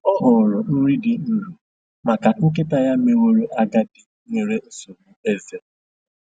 Ọ họọrọ nri dị nro maka nkịta ya meworo agadi nwere nsogbu eze.